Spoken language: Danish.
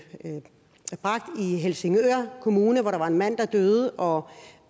helsingør kommune hvor der var en mand der døde og